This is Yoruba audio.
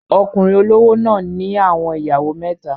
Okunrin olowo náà ni awọn iyawo meta